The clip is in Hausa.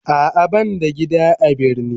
A'a ban da gida a birni.